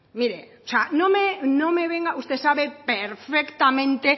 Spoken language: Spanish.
mire o sea no me venga usted sabe perfectamente